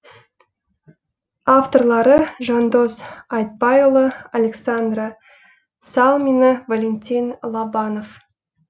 авторлары жандос айтбайұлы александра салмина валентин лобанов